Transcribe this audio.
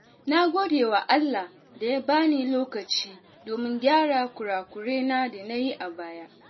Na gode wa Allah da ya bani lokaci domin gyara kurakuren da na yi a baya.